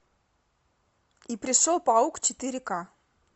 и пришел паук четыре ка